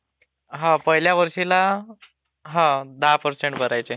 हा पहिल्या वर्षीला हा दहा पर्सेंट भरायचे